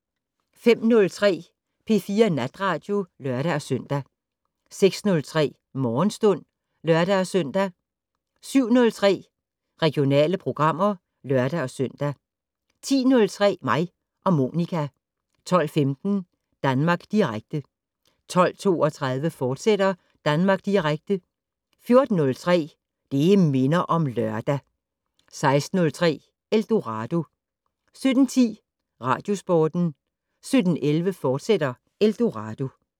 05:03: P4 Natradio (lør-søn) 06:03: Morgenstund (lør-søn) 07:03: Regionale programmer (lør-søn) 10:03: Mig og Monica 12:15: Danmark Direkte 12:32: Danmark Direkte, fortsat 14:03: Det' Minder om Lørdag 16:03: Eldorado 17:10: Radiosporten 17:11: Eldorado, fortsat